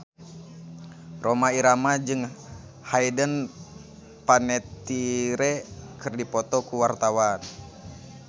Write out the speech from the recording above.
Rhoma Irama jeung Hayden Panettiere keur dipoto ku wartawan